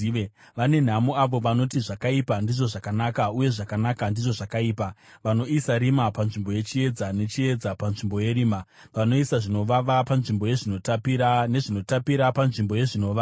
Vane nhamo avo vanoti zvakaipa ndizvo zvakanaka, uye zvakanaka ndizvo zvakaipa, vanoisa rima panzvimbo yechiedza nechiedza panzvimbo yerima, vanoisa zvinovava panzvimbo yezvinotapira, nezvinotapira panzvimbo yezvinovava.